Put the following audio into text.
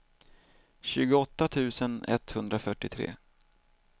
tjugoåtta tusen etthundrafyrtiotre